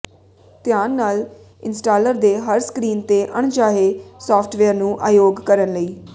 ਧਿਆਨ ਨਾਲ ਇੰਸਟਾਲਰ ਦੇ ਹਰ ਸਕਰੀਨ ਤੇ ਅਣਚਾਹੇ ਸਾਫਟਵੇਅਰ ਨੂੰ ਅਯੋਗ ਕਰਨ ਲਈ